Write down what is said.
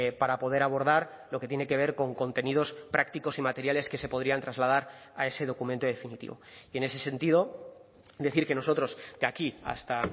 para poder abordar lo que tiene que ver con contenidos prácticos y materiales que se podrían trasladar a ese documento definitivo y en ese sentido decir que nosotros de aquí hasta